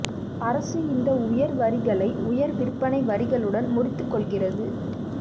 அரசு இந்த உயர் வரிகளை உயர் விற்பனை வரிகளுடன் முறித்துக் கொள்கிறது